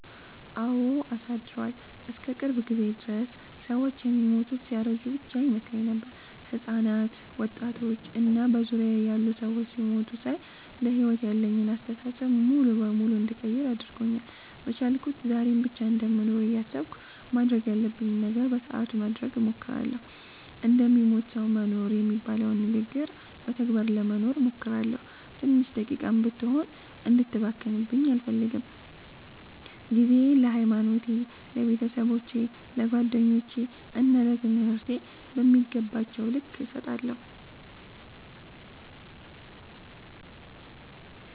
አወ አሳድሯል። እስከ ቅርብ ጊዜ ድረስ ሰወች የሚሞቱት ሲያረጁ ብቻ ይመስለኝ ነበር። ህጻናት፣ ወጣቶች እና በዙሪያየ ያሉ ሰዎች ሲሞቱ ሳይ ለሕይወት ያለኝን አስተሳሰብ ሙሉ በሙሉ እንድቀይር አድርጎኛል። በቻልኩት ዛሬን ብቻ እንደምኖር እያሰብኩ ማድረግ ያለብኝን ነገር በሰአቱ ለማድረግ እሞክራለሁ። እንደሚሞት ሰዉ መኖር የሚባለውን ንግግር በተግባር ለመኖር እሞክራለሁ። ትንሽ ደቂቃም ብትሆን እንድትባክንብኝ አልፈልግም። ጊዜየን ለሀይማኖቴ፣ ለቤተሰቦቼ፣ ለጓደኞቼ እና ለትምህርቴ በሚገባቸዉ ልክ እሰጣለሁ።